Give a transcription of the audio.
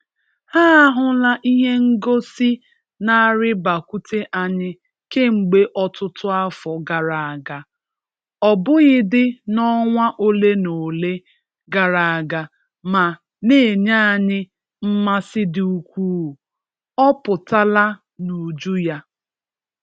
Ha ahụla ihe ngosi n'arịbakwute anyị kemgbe ọtụtụ afọ gara aga, ọ bụghịdị n'ọnwa ole na ole gara aga ma n'enye anyị mmasị dị ukwuu. Ọ pụtala n'uju ya.